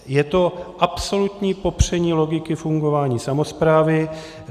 Je to absolutní popření logiky fungování samosprávy.